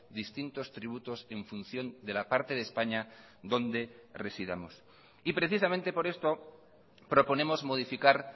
distintos tributos en función de la parte de españa donde residamos y precisamente por esto proponemos modificar